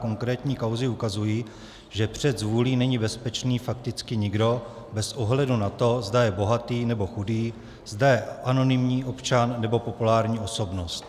Konkrétní kauzy ukazují, že před zvůlí není bezpečný fakticky nikdo bez ohledu na to, zda je bohatý, nebo chudý, zda je anonymní občan, nebo populární osobnost.